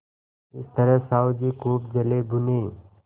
इस तरह साहु जी खूब जलेभुने